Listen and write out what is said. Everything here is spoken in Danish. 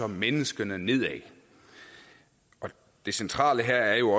menneskene nedad det centrale her er jo